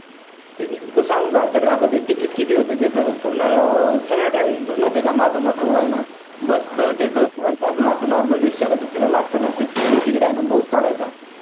किती तुला सांगू का? तर ticket किती होतं तिथं? अं पूर्ण सगळं travel करून माहीत आहे का? माझा मोठा भाऊ आहे ना bus च त्याचं normal rickshaw ला दुसऱ्याला लागत ना ticket आहे ना भाऊंच काढायचा